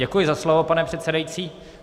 Děkuji za slovo, pane předsedající.